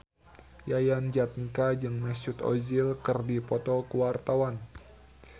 Yayan Jatnika jeung Mesut Ozil keur dipoto ku wartawan